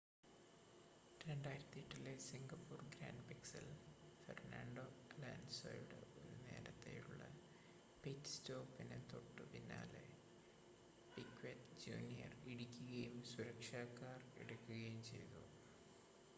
2008-ലെ Singapore ഗ്രാൻപ്രിക്സിൽ Fernando അലോൺസോയുടെ ഒരു നേരത്തെയുള്ള പിറ്റ് സ്റ്റോപ്പിന് തോട്ടുപിന്നാലെ പിക്വെറ്റ് ജൂനിയർ ഇടിക്കുകയും സുരക്ഷാ കാർ എടുക്കുകയും ചെയ്തു